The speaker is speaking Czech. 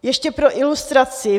Ještě pro ilustraci.